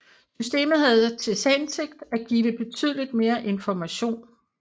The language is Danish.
Systemet havde til hensigt at give betydeligt mere information